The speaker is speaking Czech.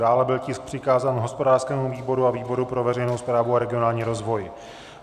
Dále byl tisk přikázán hospodářskému výboru a výboru pro veřejnou správu a regionální rozvoj.